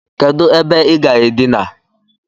Kedu ebe I ga-adina?